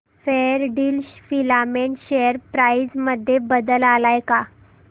Fairdeal filament share price मध्ये बदल आलाय का